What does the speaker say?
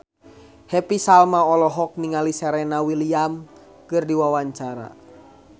Happy Salma olohok ningali Serena Williams keur diwawancara